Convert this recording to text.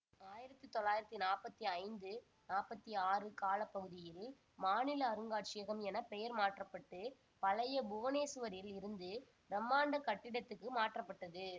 ஆயிரத்தி தொள்ளாயிரத்தி நாற்பத்தி ஐந்து நாற்பத்தி ஆறு கால பகுதியில் மாநில அருங்காட்சியகம் என பெயர் மாற்ற பட்டு பழைய புவனேசுவரில் இருந்த பிரமண்டா கட்டிடத்துக்கு மாற்றப்பட்டது